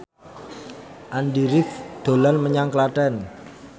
Andy rif dolan menyang Klaten